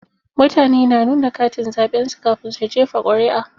Mutane na nuna katin zaɓen su kafin su jefa ƙuri'a.